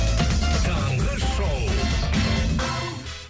таңғы шоу